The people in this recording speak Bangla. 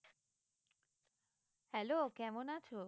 Hello কেমন আছো?